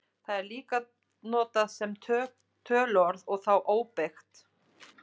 Það er líka notað sem töluorð og þá óbeygt.